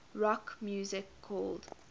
rock music called